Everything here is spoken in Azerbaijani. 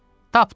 Tapdım!